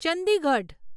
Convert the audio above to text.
Chandigarh